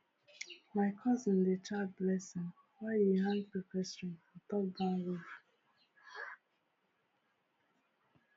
my cousin dey chant blessing while e hang pepper string for top barn roof?]